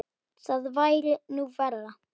Það væri nú verra.